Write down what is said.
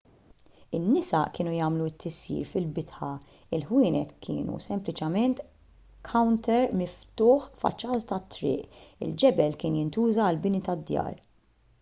in-nisa kienu jagħmlu t-tisjir fil-bitħa il-ħwienet kienu sempliċiment kawnter miftuħ faċċata tat-triq il-ġebel kien jintuża għall-bini tad-djar